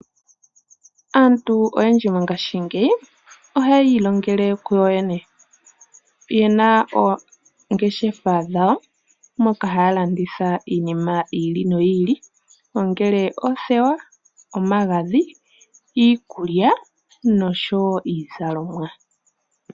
Aantu oyendji mongaashingeyi ohayi ilongele kuyo yene ye na oongeshefa dhayo moka haya landitha iinima yi ili noyi ili ongele oothewa, omagadhi, iikulya noshowo iizalomwa.